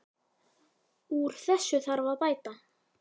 Úr þessu þarf að bæta.